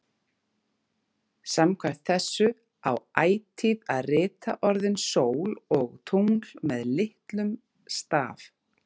Samkvæmt þessu á ætíð að rita orðin sól og tungl með litlum staf.